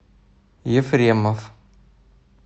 ефремов